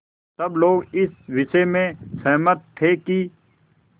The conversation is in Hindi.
सब लोग इस विषय में सहमत थे कि